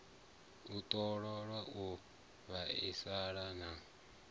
u ṱoliwa u lavheleswa na